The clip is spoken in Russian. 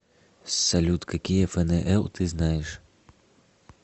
салют какие фнл ты знаешь